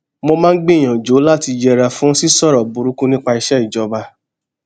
mo máa ń gbìyànjú láti yẹra fún sísòrò burúkú nípa iṣé ìjọba